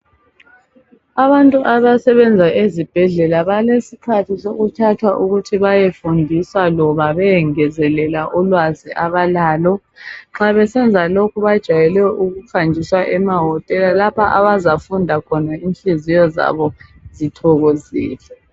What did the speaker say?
Abantu abasebenza ezibhedlela balesikhathi sokuthathwa ukuthi bayefundiswa loba bayengezelela ùlwazi abalalo. Nxa besenza lokho bajayele ukuhanjiswa emahotela lapho abazafunda khona inhliziyo zabo zithokoile.